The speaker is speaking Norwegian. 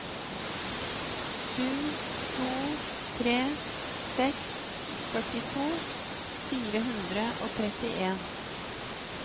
sju to tre seks førtito fire hundre og trettien